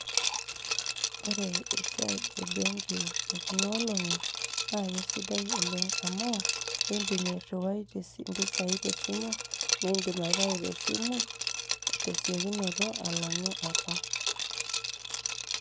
ore esiiai e benki e kuna olong;i naa kesidai oleng amu idim airiwai impisai te simu nidim airiwai te siokinoto, alang'u apa.